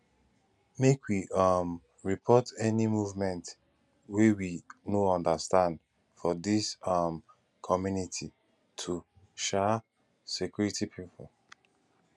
make we um report any movement wey we no understand for dis um community to um security pipo